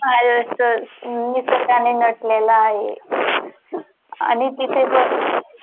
पाहिलच तर निसर्गानी नटलेलं आहे. आणि तीथे जर